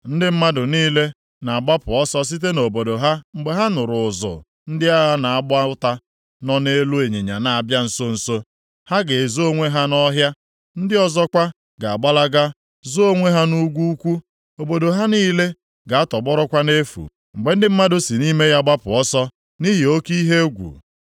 Ndị mmadụ niile ga-agbapụ ọsọ site nʼobodo ha mgbe ha nụrụ ụzụ ndị agha na-agba ụta nọ nʼelu ịnyịnya na-abịa nso nso. Ha ga-ezo onwe ha nʼọhịa; ndị ọzọkwa ga-agbalaga zoo onwe ha nʼugwu ukwu. Obodo ha niile ga-atọgbọrọkwa nʼefu, mgbe ndị mmadụ si nʼime ya gbapụ ọsọ nʼihi oke ihe egwu.